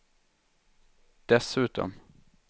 dessutom